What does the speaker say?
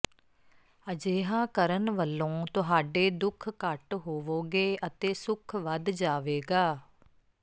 ਅਜਿਹਾ ਕਰਣ ਵਲੋਂ ਤੁਹਾਡੇ ਦੁੱਖ ਘੱਟ ਹੋਵੋਗੇ ਅਤੇ ਸੁਖ ਵੱਧ ਜਾਵੇਗਾ